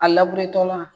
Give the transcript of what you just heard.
A la